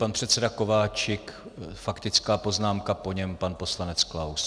Pan předseda Kováčik - faktická poznámka, po něm pan poslanec Klaus.